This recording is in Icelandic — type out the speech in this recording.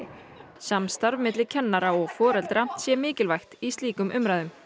samstarf milli kennara og foreldra sé mikilvægt í slíkum umræðum